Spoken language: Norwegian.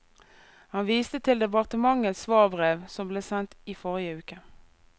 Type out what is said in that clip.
Han viste til departementets svarbrev, som ble sendt i forrige uke.